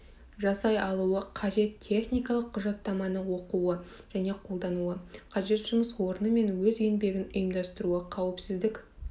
жасай алуы қажет техникалық құжаттаманы оқуы және қолдануы қажет жұмыс орны мен өз еңбегін ұйымдастыруы қауіпсіздік